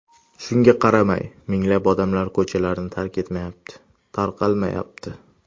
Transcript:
Shunga qaramay, minglab odamlar ko‘chalarni tark etmayapti, tarqalmayapti.